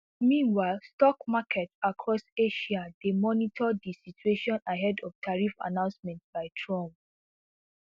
meanwhile stock markets across asia dey monitor di situation ahead of tariff announcements by trump